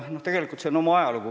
Noh, tegelikult sel on oma ajalugu.